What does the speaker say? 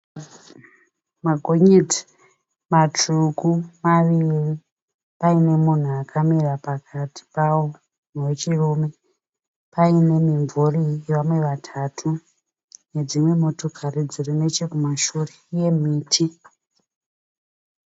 Magonyeti matsvuku maviri paine munhu akamira pakati pawo wechirume. Paine mimvuri yevamwe vatatu nedzimwe motokari dziri nechekumashure, uye miti.